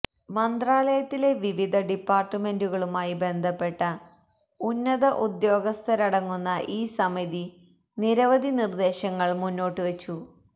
മന്ത്രാലയത്തിലെ വിവിധ ഡിപ്പാർട്ട്മെന്റുകളുമായി ബന്ധപ്പെട്ട ഉന്നത ഉദ്യോഗസ്ഥരടങ്ങുന്ന ഈ സമിതി നിരവധി നിർദ്ദേശങ്ങൾ മുന്നോട്ടുവച്ചു